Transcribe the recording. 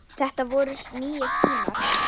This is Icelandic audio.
Þetta voru nýir tímar.